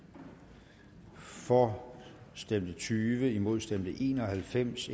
for stemte tyve imod stemte en og halvfems